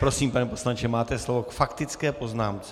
Prosím, pane poslanče, máte slovo k faktické poznámce.